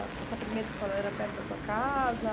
Essa primeira escola era perto da tua casa?